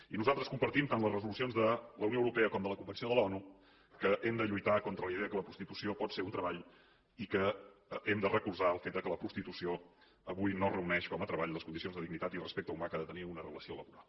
i nosaltres compartim tant les resolucions de la unió europea com de la convenció de l’onu que hem de lluitar contra la idea que la prostitució pot ser un treball i que hem de recolzar el fet que la prostitució avui no reuneix com a treball les condicions de dignitat i de respecte humà que ha de tenir una relació laboral